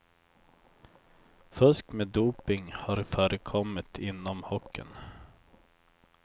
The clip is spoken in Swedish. Fusk med doping har förekommit inom hockeyn.